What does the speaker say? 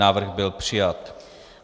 Návrh byl přijat.